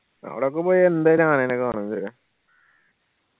അവടൊക്കെ പോയ എന്തായാലും ആനേനെ കാണു ല്ലേ